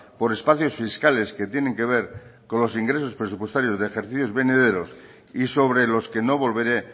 por espacios fiscales que tienen que ver con los ingresos presupuestarios de ejercicios venideros y sobre los que no volveré